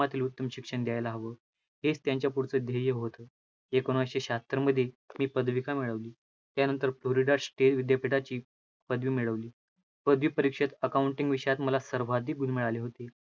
तून शिक्षण घ्यायला हवं, हेच त्यांच्या पुढचं ध्येय होतं, एकोणविसशे शाहत्तरमध्ये मी पदवी का मिळवली, त्यानंतर पुढे राष्ट्रीय विद्यापीठाची पदवी मिळवली. पदवी परीक्षेत accounting विषयात मला सर्वाधिक गुण मिळाले होते.